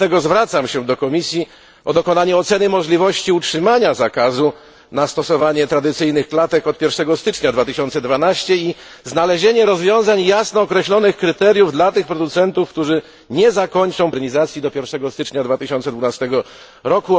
Dlatego zwracam się do Komisji o dokonanie oceny możliwości utrzymania zakazu stosowania tradycyjnych klatek od 1 stycznia 2012 r. i znalezienie rozwiązań, jasno określonych kryteriów dla tych producentów, którzy nie zakończą procesu modernizacji do 1 stycznia 2012 r.,